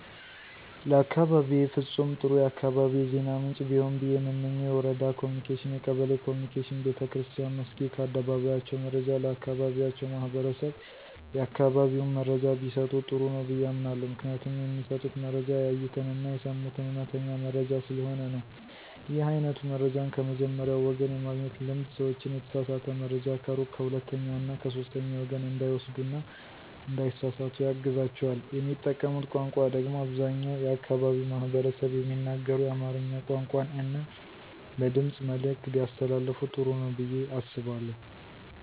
ለአካባቢየ ፍጹም ጥሩ የአካባቢ የዜና ምንጭ ቢሆን ብየ የምመኘው የወረዳ ኮምኒኬሽን፣ የቀበሌ ኮምኒኬሽን፣ ቤተክርስትያን መስኪድ ከአደባባያቸው መረጃ ለአካባቢያቸው ማህበረሰብ የአካባቢውን መረጃ ቢሰጡ ጥሩ ነው ብየ አምናለሁ። ምክንያቱም የሚሰጡት መረጃ ያዩትን አና የሰሙትን አዉነተኛ መረጃ ስለሆነ ነው። ይህ አይነቱ መረጃን ከመጀመሪያዉ ወገን የማግኘት ልምድ ሰዎችን የተሳሳተ መረጃ ከሩቅ ከሁለተኛ እና ከሶስተኛ ወገን እንዳይወስዱ እና እንዳይሳሰሳቱ ያግዛቸዋል። የሚጠቀሙት ቋንቋ ደግሞ አብዛኛው የአካባቢው ማህበረሰብ የሚናገረውን የአማርኛ ቋንቋን እና በድምጽ መልዕክት ቢያስተላልፋ ጥሩ ነው ብየ አስባለሁ።